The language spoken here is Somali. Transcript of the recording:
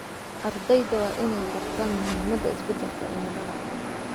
Ardayda waa in ay bartaan muhiimada isbedelka cimilada.